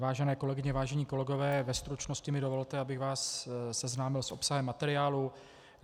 Vážené kolegyně, vážení kolegové, ve stručnosti mi dovolte, abych vás seznámil s obsahem materiálu.